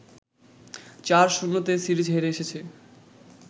৪-০তে series হেরে এসেছে